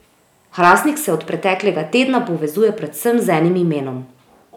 Hrastnik se od preteklega tedna povezuje predvsem z enim imenom.